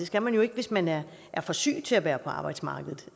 skal man jo ikke hvis man er for syg til at være på arbejdsmarkedet